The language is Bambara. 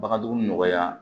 Bagandugu nɔgɔya